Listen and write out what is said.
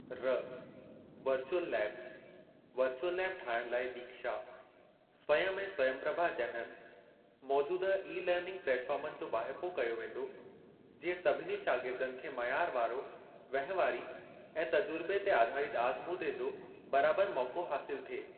(र) virtual labs - virtual lab ठाहिण लाइ दीक्षा, स्वयम् ऐं स्वयम्प्रभा जहिड़नि मौजूदह ई-लर्निंग प्लेटफ़ार्मनि जो वाहिपो कयो वेंदो, जीअं सभिनी शागिर्दनि खे मयार वारो वहिंवारी ऐं तजुर्बे ते आधारित आज़मूदे जो बराबर मौको हासिल थिए।